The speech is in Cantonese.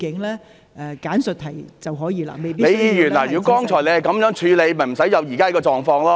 李議員，如果剛才你是這樣處理，便不會出現現時這個狀況。